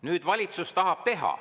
Nüüd valitsus tahab teha.